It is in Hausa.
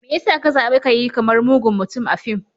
Me ya sa ka zabi ka yi kamar mugun mutum a fim?